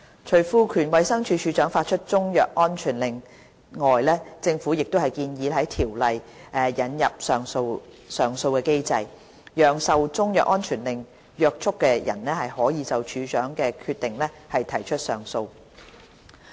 除賦權衞生署署長發出中藥安全令外，政府亦建議在《條例》引入上訴機制，讓受中藥安全令約束的人可就署長的決定提出上訴。